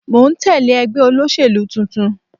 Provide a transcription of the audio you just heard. Mò ń tẹ́lẹ̀ ẹgbẹ́ olóṣèlú tuntun.